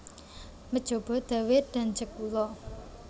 Mejobo Dawe dan Jekulo